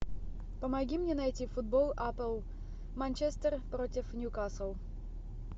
помоги мне найти футбол апл манчестер против ньюкасл